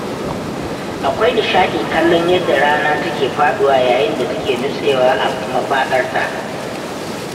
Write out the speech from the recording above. Akwai nishaɗi kallon yadda rana take faɗuwa yayin da take nutsewa a mafaɗarta